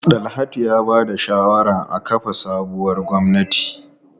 Dalhatu ya ba da shawarar a kafa sabuwar gwamnati.